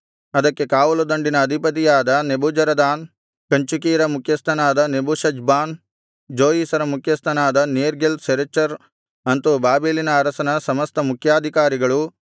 ಅದಕ್ಕೆ ಕಾವಲುದಂಡಿನ ಅಧಿಪತಿಯಾದ ನೆಬೂಜರದಾನ್ ಕಂಚುಕಿಯರ ಮುಖ್ಯಸ್ಥನಾದ ನೆಬೂಷಜ್ಬಾನ್ ಜೋಯಿಸರ ಮುಖ್ಯಸ್ಥನಾದ ನೇರ್ಗಲ್ ಸರೆಚರ್ ಅಂತು ಬಾಬೆಲಿನ ಅರಸನ ಸಮಸ್ತ ಮುಖ್ಯಾಧಿಕಾರಿಗಳು